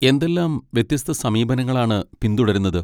എന്തെല്ലാം വ്യത്യസ്ത സമീപനങ്ങളാണ് പിന്തുടരുന്നത്?